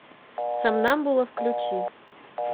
сомнамбула включи